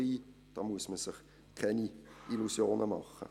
Da muss man sich keine Illusionen machen.